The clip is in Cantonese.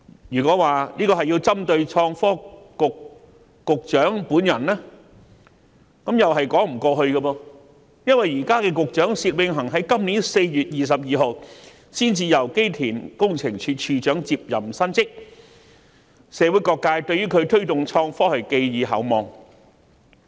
若說這是針對創新及科技局局長本人，亦是說不通的，因為現時的薛永恒局長原本任職機電工程署署長，他在今年4月22日才履新，社會各界對他推動創科發展均寄予厚望。